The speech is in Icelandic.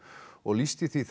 og lýsti því